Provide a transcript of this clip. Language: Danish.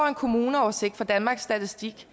en kommuneoversigt fra danmarks statistik